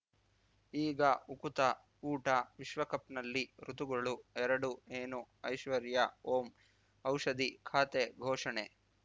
ಈಗ ಉಕುತ ಊಟ ವಿಶ್ವಕಪ್‌ನಲ್ಲಿ ಋತುಗಳು ಎರಡು ಏನು ಐಶ್ವರ್ಯಾ ಓಂ ಔಷಧಿ ಖಾತೆ ಘೋಷಣೆ